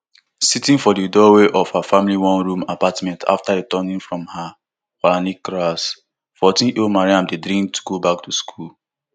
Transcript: sitting for di doorway of her family oneroom apartment after returning from her quranic class fourteenyearold mariam dey dream to go back to school